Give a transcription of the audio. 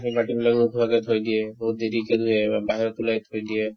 বাকি বিলাকো ওখকে থৈ দিয়ে বহুত দেৰিকে নিয়ে বা বাহিৰত ওলাই থৈ দিয়ে